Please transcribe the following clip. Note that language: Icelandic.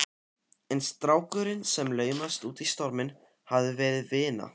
En strákurinn sem laumaðist út í storminn hafði verið vina